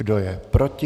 Kdo je proti?